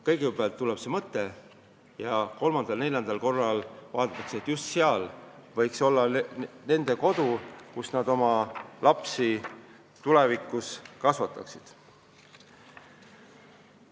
Kõigepealt see leitakse, siis aga käiakse seda kolm-neli korda vaatamas, sest on tekkinud mõte, et just sinna võiks rajada kodu, kus oma lapsi kasvatada.